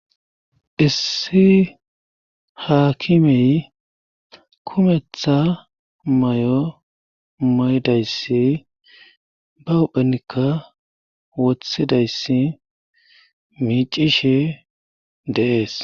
issi haakimey kumetha may7o may7dayssi ba uhphenikka wothidayssi miicishi deees